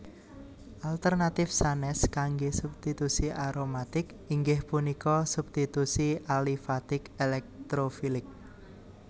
Alternatif sanes kangge substitusi aromatik inggih punika substitusi alifatik elektrofilik